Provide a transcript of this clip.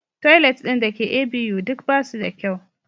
Toilet ɗin da ke ABU duk ba su da kyau.